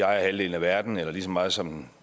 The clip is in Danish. ejer halvdelen af verden eller lige så meget som